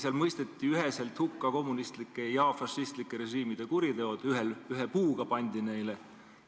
Seal mõisteti üheselt hukka kommunistlike ja fašistlike režiimide kuriteod – ühe puuga pandi neile.